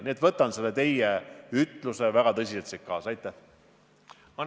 Nii et ma suhtun teie ütlusesse väga tõsiselt ja võtan selle siit kaasa.